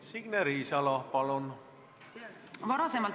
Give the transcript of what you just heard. Signe Riisalo, palun!